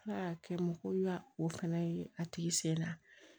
Ala y'a kɛ mɔgɔ ya o fɛnɛ ye a tigi sen na